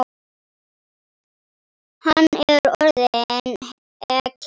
Hann er orðinn ekkill.